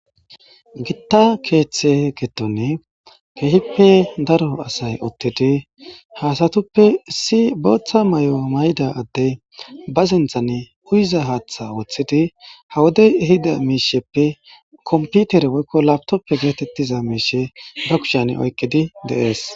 Gita keththe giddon keehippe daro asay uttidi ha asatuppe issi boththa mayo mayida addey ba sinththan uyiza haaththa woththidi kawoti diza miishsheppe kompitere woykko lapitoppe goza miishshe ba kushshn oykidii de'es